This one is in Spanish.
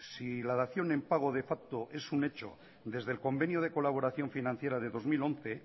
si la dación en pago de facto es un hecho desde el convenio de colaboración financiera de dos mil once